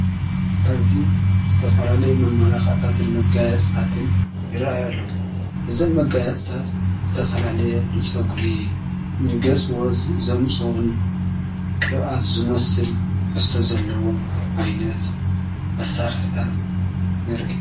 ኣዚ ዝተፈላለዮ መመላኽእታትን መጋያጽኣትን ይረየሉ ብዘም መጋያጽጣት ዝተፈላለየ ንጾጕሪ ንገጽዎት ዘምፅኡን ቅብኣት ዙሙስል ፈስቶ ዘለዎም ኣይነት መሣርሕታት ንርኢ።